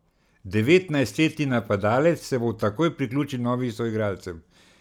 Devetnajstletni napadalec se bo takoj priključil novim soigralcem.